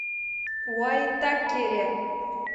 уаитакере